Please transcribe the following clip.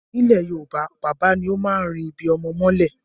Ní ilẹ̀ Yorùbá, bàbá ni ó máa ń ri ibi-ọmọ mọ́lẹ̀.